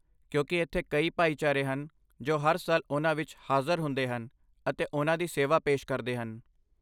ਕਿਉਂਕਿ ਇੱਥੇ ਕਈ ਭਾਈਚਾਰੇ ਹਨ ਜੋ ਹਰ ਸਾਲ ਉਹਨਾਂ ਵਿੱਚ ਹਾਜ਼ਰ ਹੁੰਦੇ ਹਨ, ਅਤੇ ਉਹਨਾਂ ਦੀ ਸੇਵਾ ਪੇਸ਼ ਕਰਦੇ ਹਨ।